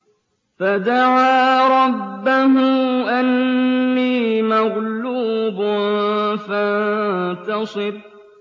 فَدَعَا رَبَّهُ أَنِّي مَغْلُوبٌ فَانتَصِرْ